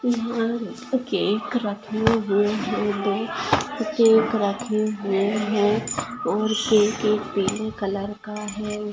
Cake रखे हुए है दो केक रखे हुए है और के के पीले कलर का है।